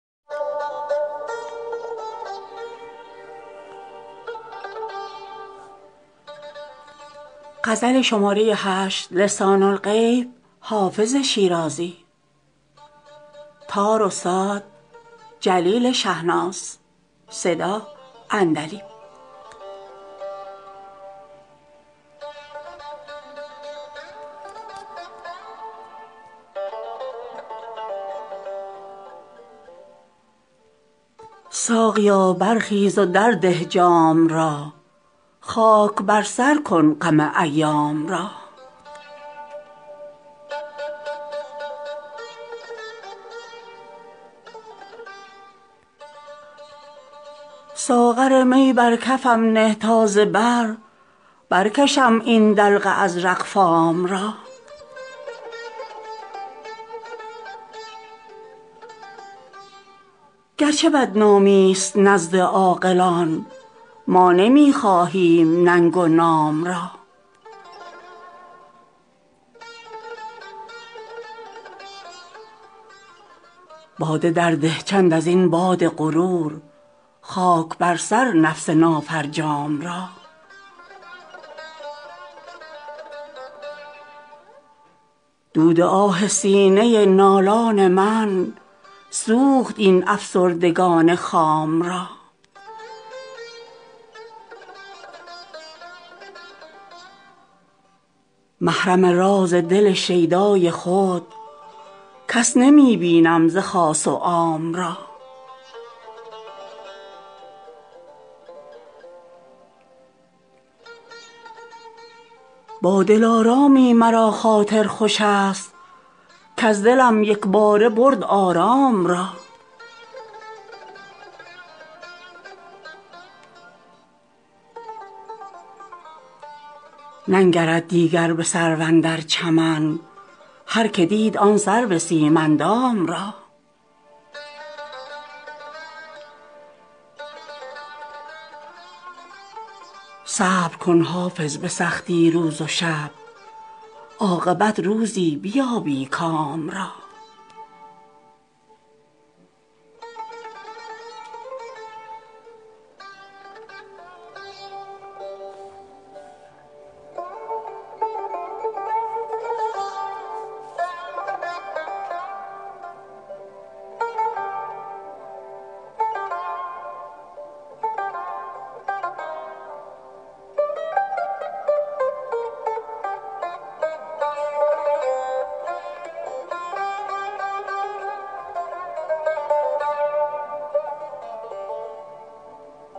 ساقیا برخیز و درده جام را خاک بر سر کن غم ایام را ساغر می بر کفم نه تا ز بر برکشم این دلق ازرق فام را گرچه بدنامی ست نزد عاقلان ما نمی خواهیم ننگ و نام را باده درده چند از این باد غرور خاک بر سر نفس نافرجام را دود آه سینه نالان من سوخت این افسردگان خام را محرم راز دل شیدای خود کس نمی بینم ز خاص و عام را با دلارامی مرا خاطر خوش است کز دلم یک باره برد آرام را ننگرد دیگر به سرو اندر چمن هرکه دید آن سرو سیم اندام را صبر کن حافظ به سختی روز و شب عاقبت روزی بیابی کام را